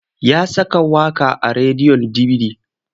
Ya saka waƙa a rediyon dibidi.